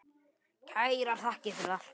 Kærar þakkir fyrir allt.